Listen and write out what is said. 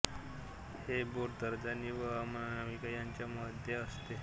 हे बोट तर्जनी व अनामिका यांच्या मध्ये असते